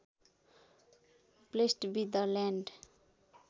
blessed be the land